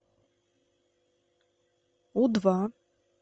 у два